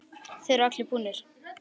Þeir eru allir búnir.